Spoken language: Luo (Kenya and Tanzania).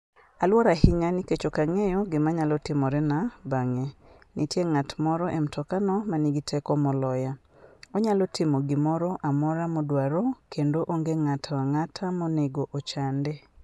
Aluor ahinya nikech ok ang'eyo gima nyalo timorena bang'e. Nitie ng'at moro e mtokano ma nigi teko moloya. Onyalo timo gimoro amora modwaro, kendo onge ng'ato ang'ata monego ochande.